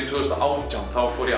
tvö þúsund og átján þá fór ég